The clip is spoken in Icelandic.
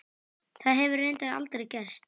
Það hefur reyndar aldrei gerst.